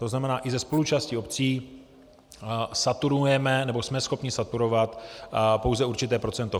To znamená, i se spoluúčastí obcí saturujeme, nebo jsme schopni saturovat pouze určité procento.